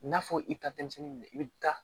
N'a fɔ i ka denmisɛnnin minɛ i bɛ taa